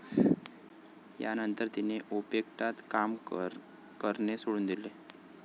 यानंतर तिने ओपेक्टात काम करणे सोडून दिले.